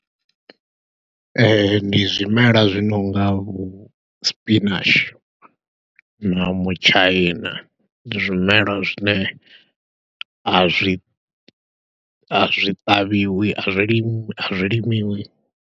Ee, ndi zwimela zwi nonga vho spinach, na mutshaina, ndi zwimelwa zwine a zwi, a zwi ṱavhiwi, a zwi limiwi a zwi limiwi.